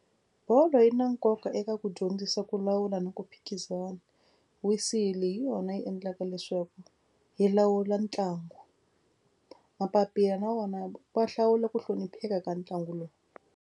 Bolo yi na nkoka eka ku dyondzisa ku lawula na ku phikizana. Whistle hi yona yi endlaka leswaku yi lawula ntlangu. Mapapila na wona wa hlawula ku hlonipheka ka ntlangu lowu.